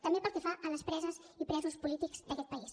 també pel que fa a les preses i presos polítics d’aquest país